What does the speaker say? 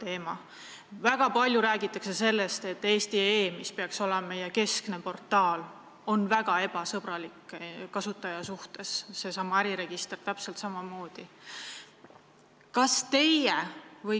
Aga väga palju räägitakse sellest, et Eesti.ee, mis peaks olema meie keskne portaal, on väga ebasõbralik kasutaja suhtes, ja äriregister täpselt samamoodi.